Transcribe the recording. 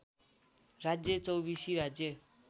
राज्य चौबिसी राज्य